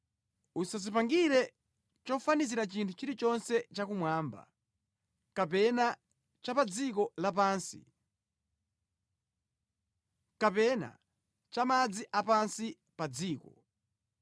“Usadzipangire chofanizira chinthu chilichonse chakumwamba kapena cha pa dziko lapansi kapena cha mʼmadzi a pansi pa dziko.